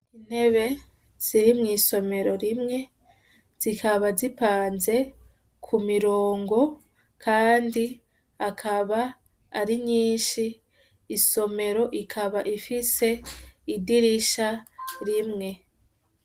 Intebe ziri mw'isomero rimwe zikaba zipanze ku mirongo, kandi akaba ari nyinshi, isomero ikaba ifise idirisha rimwe.